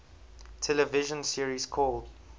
television series called